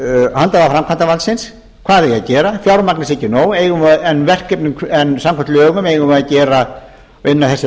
handhafa framkvæmdarvaldsins hvað þeir eigi að gera fjármagnið sé ekki nóg en samkvæmt verkefnum eigum við að inna þessi verkefni